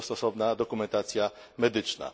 Jest na to stosowna dokumentacja medyczna.